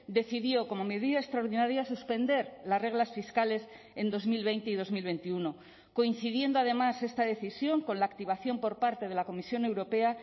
decidió como medida extraordinaria suspender las reglas fiscales en dos mil veinte y dos mil veintiuno coincidiendo además esta decisión con la activación por parte de la comisión europea